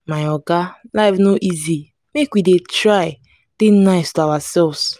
my oga life no easy make we dey try dey nice to ourselves.